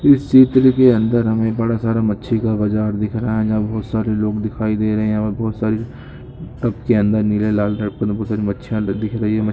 इस सीन पर देखिए अंदर हमें बड़ा सारा मच्छी का बाजार दिख रहा है यहा पर बहुत सारे लोग दिखाई दे रहे हैं बहुत सारे मछलियां दिख रही है।